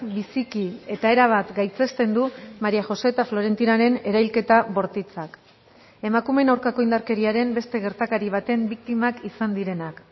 biziki eta erabat gaitzesten du maría josé eta florentinaren erailketa bortitzak emakumeen aurkako indarkeriaren beste gertakari baten biktimak izan direnak